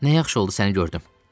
Nə yaxşı oldu səni gördüm.